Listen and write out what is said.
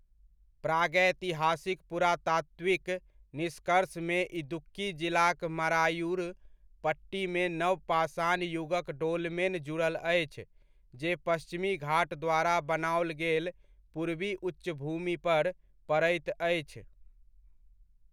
प्रागैतिहासिक पुरातात्विक निष्कर्षमे इदुक्की जिलाक मरायूर पट्टीमे नवपाषाण युगक डोलमेन जुड़ल अछि, जे पश्चिमी घाट द्वारा बनाओल गेल पूर्वी उच्चभूमि पर पड़ैत अछि।